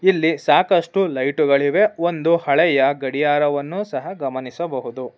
ಇಲ್ಲಿ ಸಾಕಷ್ಟು ಲೈಟುಗಳಿವೆ ಒಂದು ಹಳೆಯ ಗಡಿಯಾರವನ್ನು ಸಹ ಗಮನಿಸಬಹುದು.